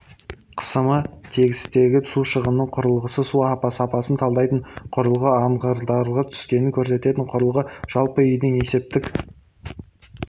қысымының тетігі су шығынының құрылғысы су сапасын талдайтын құрылғы ағындылардың түскенін көрсететін құрылғы жалпыүйдің есептік